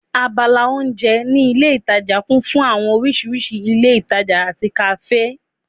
Abala oúnjẹ ní ilé ìtajà kún fún àwọn oríṣiríṣi ilé-ìtańjẹ àti kàáfè